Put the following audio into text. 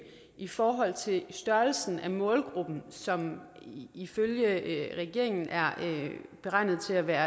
i forhold til størrelsen af målgruppen som ifølge regeringen er beregnet til at være